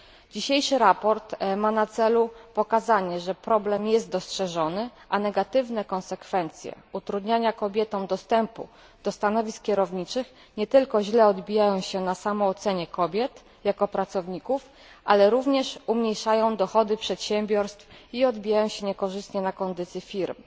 Dzisiejsze sprawozdanie ma na celu pokazanie, że problem jest dostrzeżony, a negatywne konsekwencje utrudniania kobietom dostępu do stanowisk kierowniczych nie tylko źle odbijają się na samoocenie kobiet jako pracowników, ale również umniejszają dochody przedsiębiorstw i odbijają się niekorzystnie na kondycji firm.